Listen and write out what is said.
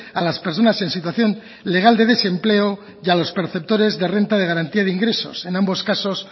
a las personas en situación legal de desempleo y a los perceptores de renta de garantía de ingresos en ambos casos